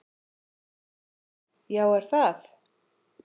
Já er það!